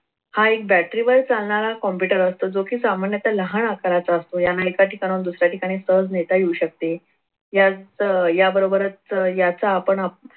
हा एक battery वर चालणार computer असतो जो कि लहान आकाराचा असतो. याला एका ठिकाणाहून दुसऱ्या ठिकाणी सहज नेता येऊ शकते. या याबरोबरच याचा आपण